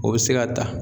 O bɛ se ka ta